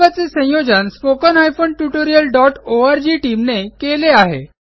सदर प्रकल्पाचे संयोजन spoken tutorialओआरजी टीम ने केले आहे